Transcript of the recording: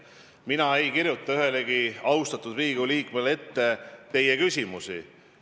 Mina ei kirjuta ühelegi austatud Riigikogu liikmele küsimusi ette.